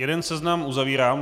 Jeden seznam uzavírám.